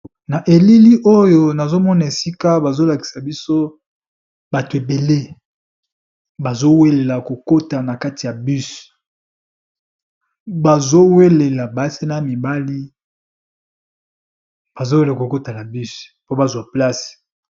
Na elili oyo nazomona esika bazolakisa biso bato ebele bazowelela kokota na kati ya bus, bazowelela basi na mibali bazowela kokota na bus po bazwa place.